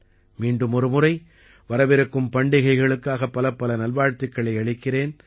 மீண்டும் ஒரு முறை வரவிருக்கும் பண்டிகைகளுக்காக பலப்பல நல்வாழ்த்துக்களை அளிக்கிறேன்